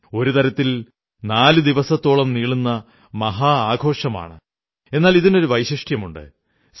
ഒരു തരത്തിൽ നാലു ദിവസത്തോളം നീളുന്ന മഹാ ആഘോഷമാണ് എന്നാൽ ഇതിനൊരു വൈശിഷ്ട്യമുണ്ട്